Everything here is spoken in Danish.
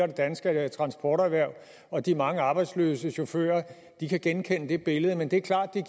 det danske transporterhverv og de mange arbejdsløse chauffører kan genkende det billede men det er klart at